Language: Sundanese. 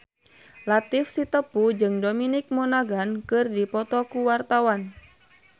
Latief Sitepu jeung Dominic Monaghan keur dipoto ku wartawan